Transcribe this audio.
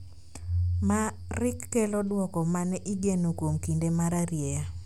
ma rik kelo duoko ma ne igeno kuom kinde mararieya